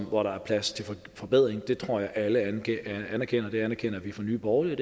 hvor der er plads til forbedringer det tror jeg at alle anerkender det anerkender vi i nye borgerlige